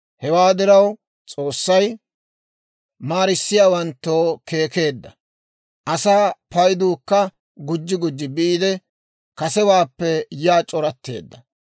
Hewaa diraw, S'oossay maarissiyaawanttoo keekkeedda. Asaa payduukka gujji gujji biide, kasewaappe yaa c'oratteedda.